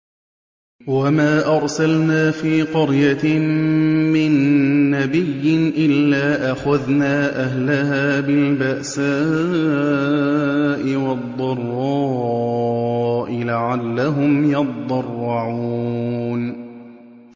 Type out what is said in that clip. وَمَا أَرْسَلْنَا فِي قَرْيَةٍ مِّن نَّبِيٍّ إِلَّا أَخَذْنَا أَهْلَهَا بِالْبَأْسَاءِ وَالضَّرَّاءِ لَعَلَّهُمْ يَضَّرَّعُونَ